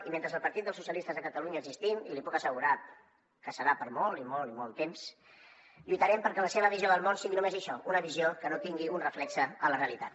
i mentre el partit dels socialistes de catalunya existim i li puc asse·gurar que serà per molt i molt i molt temps lluitarem perquè la seva visió del món sigui només això una visió que no tingui un reflex a la realitat